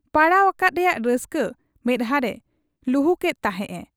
ᱯᱟᱲᱟᱣ ᱟᱠᱟᱫ ᱨᱮᱭᱟᱜ ᱨᱟᱹᱥᱠᱟᱹ ᱢᱮᱫᱦᱟᱸᱨᱮ ᱞᱩᱦᱩᱠᱮᱫ ᱛᱟᱦᱮᱸᱫ ᱮ ᱾